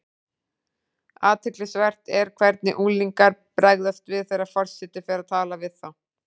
Athyglisvert er hvernig unglingar bregðast við þegar forseti fer að tala við þá.